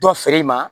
Dɔ feere ma